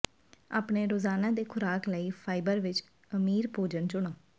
ਆਪਣੇ ਰੋਜ਼ਾਨਾ ਦੇ ਖੁਰਾਕ ਲਈ ਫਾਈਬਰ ਵਿੱਚ ਅਮੀਰ ਭੋਜਨ ਚੁਣੋ